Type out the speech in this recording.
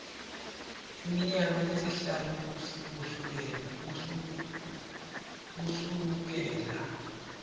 iminyaka lesihlanu kusukela